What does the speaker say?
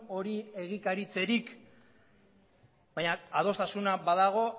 hori egikaritzerik baina adostasuna badago